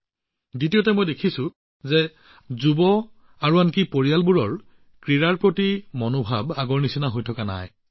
আৰু দ্বিতীয়তে মই দেখিছোঁ যে আমাৰ যৌৱনকালত আনকি আমাৰ পৰিয়ালতো খেলৰ প্ৰতি কোনো অনুভৱ নাই যিটো আগতে আছিল